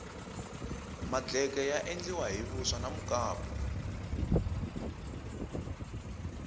madleke ya endliwa hi vuswa na mukapu